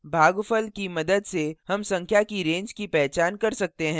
भागफल की मदद से हम संख्या की range की पहचान कर सकते हैं